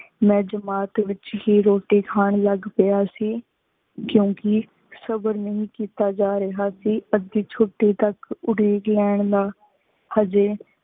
ਮੈ ਜਮਾਤ ਵਿਚ ਹੇ ਰੋਟੀ ਖਾਨ ਲਾਗ ਪਾਯਾ ਸੇ ਕੁੰਕ੍ਯ ਸਬਰ ਨਹੀ ਕੀਤਾ ਜਾ ਰਿਯ ਸੇ ਅਧਿ ਛੁਟੀ ਤਕ ਉਡੀਕ ਲੇਨ ਦਾ ਹਾਜੀ